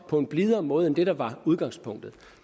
på en blidere måde end det der var udgangspunktet